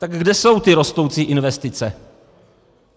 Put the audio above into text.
Tak kde jsou ty rostoucí investice?